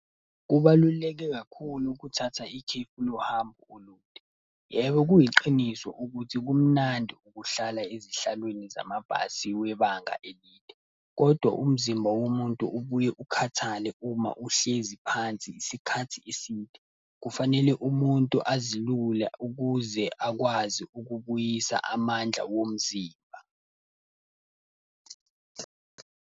Kubaluleke kakhulu ukuthatha ikhefu lohambo olude. Yebo, kuyiqiniso ukuthi kumnandi ukuhlala ezihlalweni zamabhasi webanga elide. Kodwa umzimba womuntu ubuye ukhathale uma uhlezi phansi isikhathi eside, kufanele umuntu azilule ukuze akwazi ukubuyisa amandla womzimba.